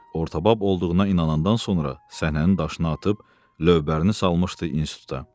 Ortabab olduğuna inanandan sonra səhnənin daşını atıb, lövbərini salmışdı instituta.